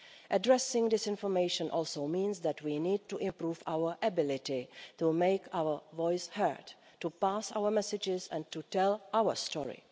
Addressing disinformation also means that we need to improve our ability to make our voice heard, to pass our messages and to tell our story.